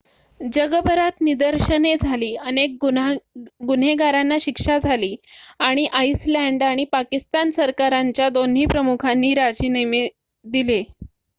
जगभरात निदर्शने झाली अनेक गुन्हेगारांना शिक्षा झाली आणि आईसलँड आणि पाकिस्तान सरकारांच्या दोन्ही प्रमुखांनी राजीनामे दिले